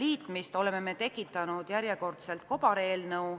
liitmist oleme tekitanud järjekordselt kobareelnõu.